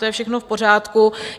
To je všechno v pořádku.